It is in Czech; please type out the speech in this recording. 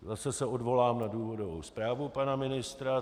Zase se odvolám na důvodovou zprávu pana ministra.